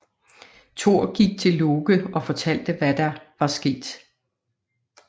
Thor gik til Loke og fortalte hvad der var sket